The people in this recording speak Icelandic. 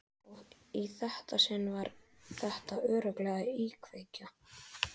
Og í þetta sinn var þetta örugglega íkveikja.